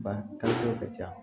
Ba taako ka ca